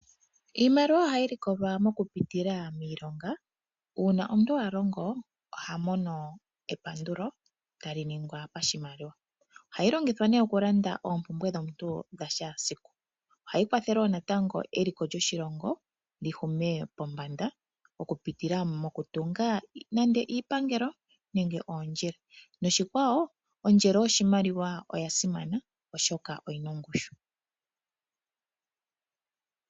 Iimaliwa ohayi likolwa mokupitila miilonga. Uuna omuntu a longo oha mono epandulo tali ningwa pashimaliwa. Ohayi longithwa nduno okulanda oompumbwe dhomuntu dha shaasiku. Ohayi kwathele wo natango eliko lyoshilongo li hume pombanda okupitila mokutunga nande iipangelo nenge oondjila noshikwawo ondjelo yoshimaliwa oya simana, oshoka oyi na ongushu.